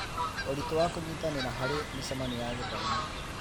Ũritũ wa kũnyitanĩra harĩ mĩcemanio ya gĩthomo.